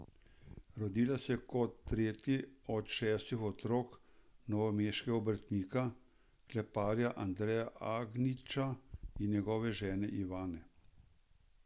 Rodila se je kot tretji od štirih otrok novomeškega obrtnika, kleparja Andreja Agniča in njegove žene Ivane.